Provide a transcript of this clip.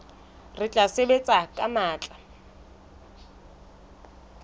re tla sebetsa ka matla